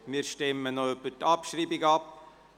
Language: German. Wir stimmen noch über die Abschreibung ab.